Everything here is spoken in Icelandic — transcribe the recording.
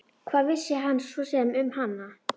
Hvað vissi hann svo sem um hana?